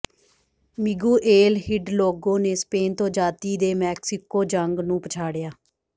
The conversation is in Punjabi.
ਮਿਗੂਏਲ ਹਿਡਲੋਗੋ ਨੇ ਸਪੇਨ ਤੋਂ ਆਜ਼ਾਦੀ ਦੇ ਮੈਕਸੀਕੋ ਜੰਗ ਨੂੰ ਪਛਾੜਿਆ